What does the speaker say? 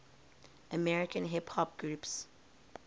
american hip hop groups